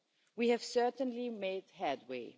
We have certainly made headway.